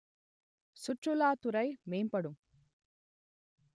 சுற்றுலாத் துறை மேம்படும்